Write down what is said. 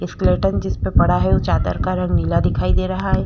Skeleton जिस पर पड़ा हुआ है चादर का रंग नीला है।